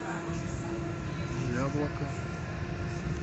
яблоко